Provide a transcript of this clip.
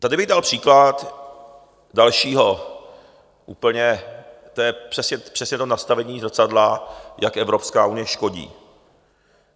Tady bych dal příklad dalšího úplně - to je přesně to nastavení zrcadla - jak Evropská unie škodí.